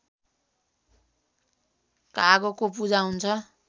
कागको पूजा हुन्छ